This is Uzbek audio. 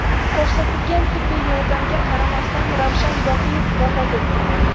Ko‘rsatilgan tibbiy yordamga qaramasdan Ravshan Boqiyev vafot etgan.